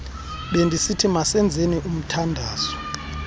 bendisithi masenzeni umthandazo